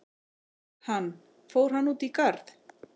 Hann: Fór hann út í garð?